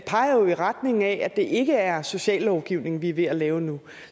peger jo i retning af at det ikke er sociallovgivning vi er ved at lave nu